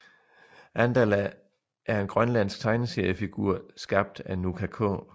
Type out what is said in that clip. Andala er en grønlandsk tegneseriefigur skabt af Nuka K